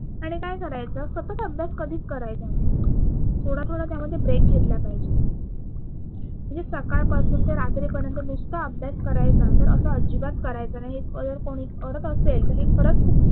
आणि काय करायचं सतत अभ्यास कधीच करायचा नाही. थोडा थोडा त्यामध्ये ब्रेक घेतला पाहिजे म्हणजे सकाळ पासून ते रात्री पर्यंत नुसता अभ्यास करायचा तर असं अजिबात करायचं नाही हे जर कोणी करत असेल तर हे खरच खूप